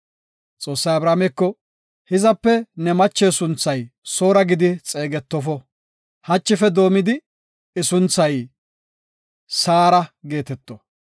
Xoossay Abrahaameko, “Hizape ne mache sunthay Soora gidi xeegetofo; hachife doomidi I sunthay Saara geeteto.